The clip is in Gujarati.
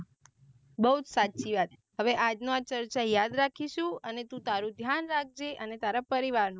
બૌજ સાચી વાત હવે આજને આ ચર્ચા યાદ રાખીસુ અને તું તારું ધ્યાન રાખજે અને તારા પરિવાર નું.